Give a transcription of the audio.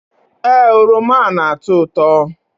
Ee, oroma na-atọ ụtọ